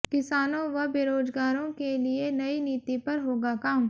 किसानों व बेरोजगारों के लिए नई नीति पर होगा काम